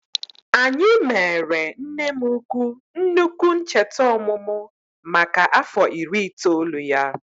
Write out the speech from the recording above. Anyị mere nne m ukwu nnukwu ncheta ọmụmụ maka afọ iri itoolu ya